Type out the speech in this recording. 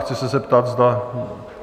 Chci ze zeptat, zda...